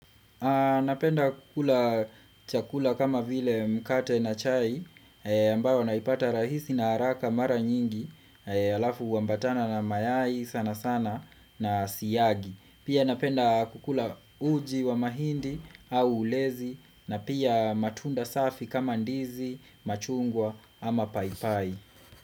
Napenda kukula chakula kama vile mkate na chai ambayo naipata rahisi na haraka mara nyingi halafu huambatana na mayai sana sana na siyagi. Pia napenda kukula uji wa mahindi au ulezi na pia matunda safi kama ndizi, machungwa ama paipai.